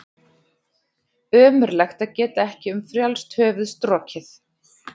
Ömurlegt að geta ekki um frjálst höfuð strokið.